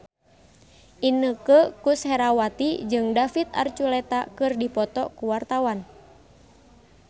Inneke Koesherawati jeung David Archuletta keur dipoto ku wartawan